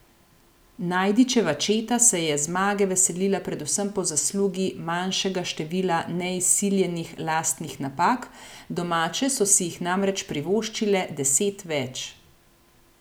Najdičeva četa se je zmage veselila predvsem po zaslugi manjšega števila neizsiljenih lastnih napak, domače so si jih namreč privoščile deset več.